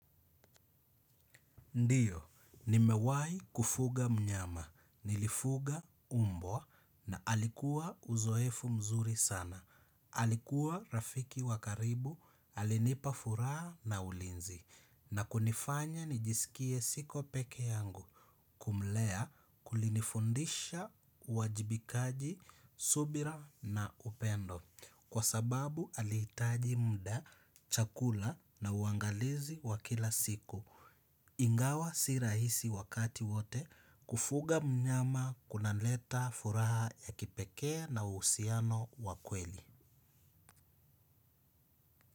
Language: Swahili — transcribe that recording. Ndiyo nimewahi kufuga mnyama. Nilifuga mbwa na alikuwa uzoefu nzuri sana. Alikuwa rafiki wa karibu, alinipa furaha na ulinzi, na kunifanya nijisikie siko pekee yangu. Kumulea kulinifundisha uwajibikaji, subira, na upendo, kwa sababu alihitaji muda, chakula na uangalizi wa kila siku. Ingawa si rahisi wakati wote kufuga mnyama kunaleta furaha ya kipekee na uhusiano wa kweli.